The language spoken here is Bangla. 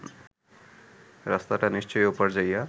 রাস্তাটা নিশ্চয়ই ওপার যাইয়া